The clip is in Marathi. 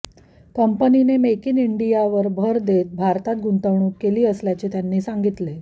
कंपनीने मेक इन इंडिया वर भर देत भारतात गुंतवणूक केली असल्याचे त्यांनी सांगितले